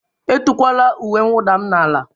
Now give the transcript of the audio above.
Etukwala uwe mwụda m n'ala!